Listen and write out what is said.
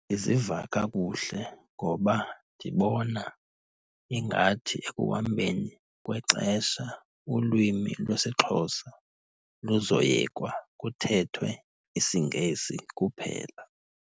Ndiziva kakuhle ngoba ndibona ingathi ekuhambeni kwexesha ulwimi lwesiXhosa luzoyekwa, kuthethwe isiNgesi kuphela.